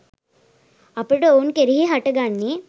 අපට ඔවුන් කෙරෙහි හට ගන්නේ